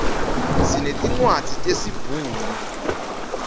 sinetincwadzi tesi bhunu